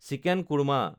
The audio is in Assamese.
চিকেন কৰ্মা